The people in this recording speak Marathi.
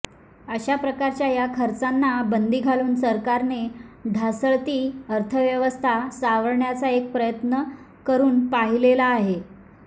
अशा प्रकारच्या या खर्चांना बंदी घालून सरकारने ढासळती अर्थव्यवस्था सावरण्याचा एक प्रयत्न करून पाहिलेला आहे